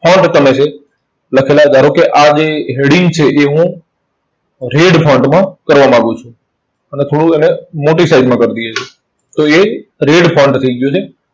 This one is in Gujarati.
તમે છે લખેલા ધારો કે આ જે heading છે એ હું red માં કરવા માંગુ છું. અને થોડું એને મોટી size માં કરી દઈએ છે. તો એ red થઇ ગયું છે.